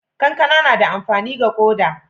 kankana na da amfani ga koda